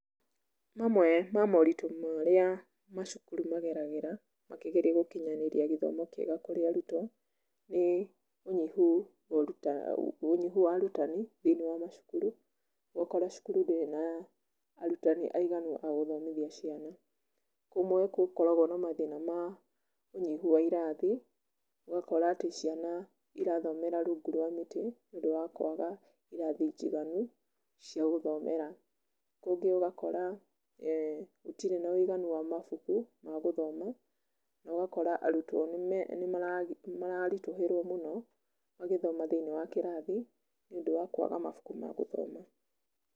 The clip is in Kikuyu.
Mamwe ma moritũ marĩa macukuru mageragĩra makĩgeria gũkinyanĩria gĩthomo kĩega kũrĩ arutwo nĩ ũnyihu wa arutani thĩinĩ wa macukuru, ũgakora cukuru ndĩrĩ na arutani aiganu a gũthomithia cĩana. Kũmwe gũkoragwo na mathĩna ma ũnyihu wa irathi ũgakora atĩ ciana irathomera rungu rwa mĩtĩ nĩũndũ wa kwaga irathi njiganu cia gũthomera. Kũngĩ ũgakora gũtirĩ na ũiganu wa mabuku ma gũthoma na ũgakora arutwo nĩ mararitũhĩrwo mũno magĩthoma thĩinĩ wa kĩrathi nĩũndũ wa kwaga mabuku ma gũthoma.